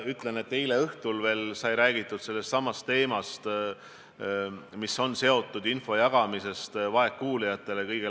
Ma kinnitan, et veel eile õhtul sai sotsiaalministriga räägitud teemast, mis on seotud info jagamisega vaegkuuljatele.